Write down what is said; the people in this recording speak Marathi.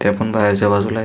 आपण बाहेर च्या बाजूला ये.